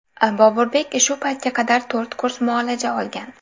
Boburbek shu paytga qadar to‘rt kurs muolaja olgan.